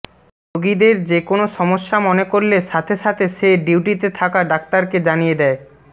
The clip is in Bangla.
রোগীদের যেকোনো সমস্যা মনে করলে সাথে সাথে সে ডিউটিতে থাকা ডাক্তারকে জানিয়ে দেয়